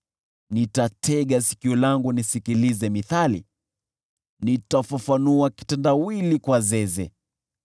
Nitatega sikio langu nisikilize mithali, nitafafanua kitendawili kwa zeze: